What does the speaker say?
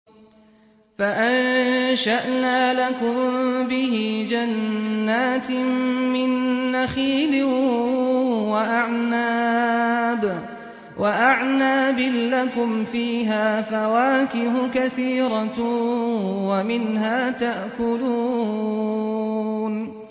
فَأَنشَأْنَا لَكُم بِهِ جَنَّاتٍ مِّن نَّخِيلٍ وَأَعْنَابٍ لَّكُمْ فِيهَا فَوَاكِهُ كَثِيرَةٌ وَمِنْهَا تَأْكُلُونَ